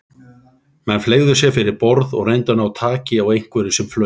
Menn fleygðu sér fyrir borð og reyndu að ná taki á einhverju sem flaut.